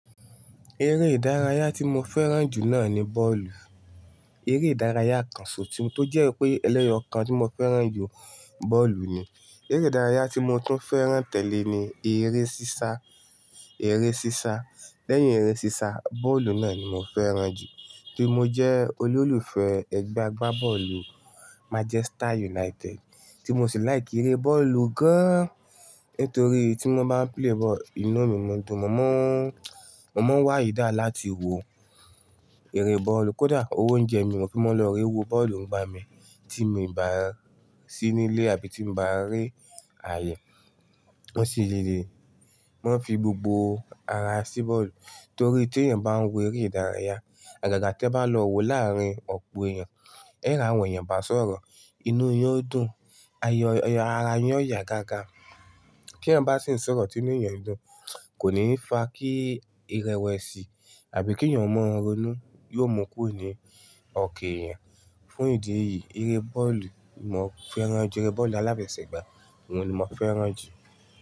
Eré ìdárayá tí mo fẹ́ràn jù náà ni bọ́ọ̀lù. Eré ìdárayá kan so tí-- tó jẹ́ pé ẹlẹ́yọọ́ kan tí mo fẹ́ràn jù, bọ́ọ̀lù ni. Eré ìdárayá tí mo tún fẹ́ràn tẹ́lẹ̀ ni eré sísá, eré sísá. Lẹ́yìn eré sísá, bọ́ọ̀lù náà ni mo fẹ́ràn jù kí mo jẹ́ olólùfẹ́ ẹgbẹ́ agbábọ́ọ̀lù Manchester United tí mo sì like eré bọ́ọ̀lù gan-an. Nítorí tí wọ́n bá ń play ball, inú mi máa ń dùn. Mo mọ́, mo mọ́ wá eager lá ti wo eré bọ́ọ̀lù. Kódà owo oúnjẹ mi mo fi mó lọ re wo bọ́ọ̀lù ńigba mi tí mo ì bá sí nílé àbí tí mo bá rí àyè. Wọ́n sì le le, wọ́n fi gbogbo ara sí bọ́ọ̀lù. Torí tí èèyàn bá ń wo eré ìdárayá, àgàgà tí ẹ bá lọ wo láàárín ọ̀pọ̀ èèyàn, ẹ́ ri àwọn èèyàn bá sọ̀rọ̀, inú yín ó dùn, ayọ-- ara yín ó yá gágá. Kí èèyàn bá sì ń sọ̀rọ̀ tí inú èèyàn ń dùn, kò ní fa kí irẹwẹṣì àbí kí èèyàn mọ́ ronú, yóò mú kuro ni ọ̀kan èèyàn. Fún ìdí èyí, eré bọ́ọ̀lù mo fẹ́ràn jù, eré bọ́ọ̀lù aláfẹ̀sẹ́ gbá òun ni mo fẹ́ràn jù.